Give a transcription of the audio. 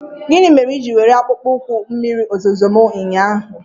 Gịnị mere i jiri were akpụkpọ ụkwụ mmiri ozuzo m ụnyaahụ?